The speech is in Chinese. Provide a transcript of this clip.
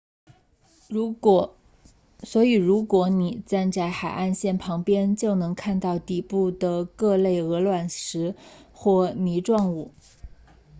所以如果你站在海岸线旁边就能看到底部的各类鹅卵石或泥状物